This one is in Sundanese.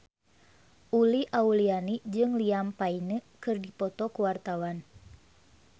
Uli Auliani jeung Liam Payne keur dipoto ku wartawan